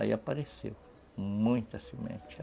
Aí apareceu muita semente.